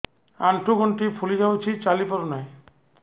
ଆଂଠୁ ଗଂଠି ଫୁଲି ଯାଉଛି ଚାଲି ପାରୁ ନାହିଁ